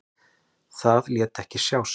Það lét ekki sjá sig.